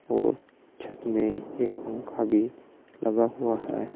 और छत में एक पंखा भी लगा हुआ है।